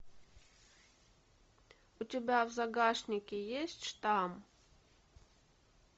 у тебя в загашнике есть штамм